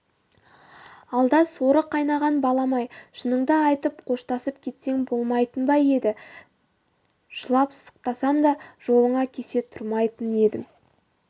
алда соры қайнаған балам-ай шыныңды айтып қоштасып кетсең болмайтын ба еді жылап сықтасам да жолыңа кесе тұрмайтын едім